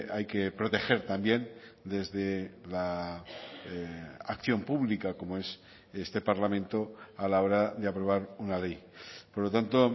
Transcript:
hay que proteger también desde la acción pública como es este parlamento a la hora de aprobar una ley por lo tanto